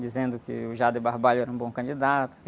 Dizendo que o Jader Barbalho era um bom candidato.